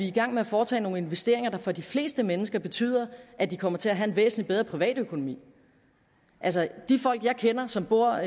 i gang med at foretage nogle investeringer der for de fleste mennesker betyder at de kommer til at have en væsentlig bedre privatøkonomi altså de folk jeg kender som bor